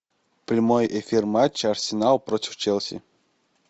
прямой эфир матча арсенал против челси